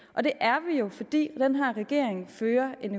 og det er vi jo fordi den her regering fører en